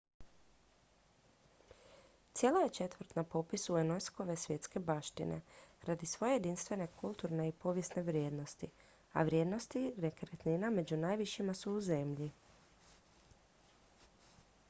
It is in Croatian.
cijela je četvrt na popisu unesco-ve svjetske baštine radi svoje jedinstvene kulturne i povijesne vrijednosti a vrijednosti nekretnina među najvišima su u zemlji